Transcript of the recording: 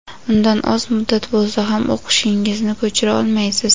undan oz muddat bo‘lsa ham o‘qishingizni ko‘chira olmaysiz.